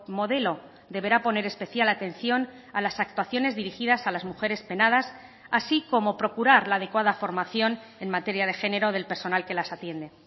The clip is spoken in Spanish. modelo deberá poner especial atención a las actuaciones dirigidas a las mujeres penadas así como procurar la adecuada formación en materia de género del personal que las atiende